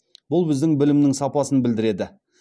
бұл біздің білімнің сапасын білдіреді